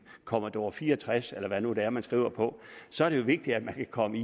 commodore fire og tres eller hvad det nu er man skriver på så er det jo vigtigt at man kan komme